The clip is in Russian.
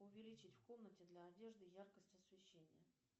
увеличить в комнате для одежды яркость освещения